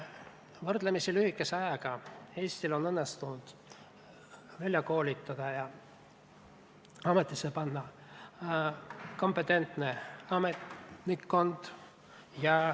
Võrdlemisi lühikese ajaga on Eestil õnnestunud välja koolitada ja ametisse panna kompetentne ametnikkond.